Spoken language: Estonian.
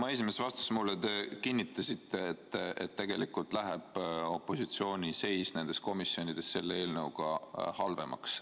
Oma esimeses vastuses mulle te kinnitasite, et tegelikult läheb opositsiooni seis nendes komisjonides selle eelnõuga halvemaks.